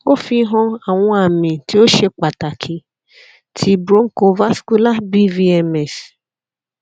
o fihan awọn ami ti o ṣe pataki ti bronchovascular bvms